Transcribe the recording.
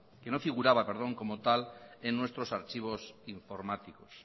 que no figuraba como tal en nuestros archivos informáticos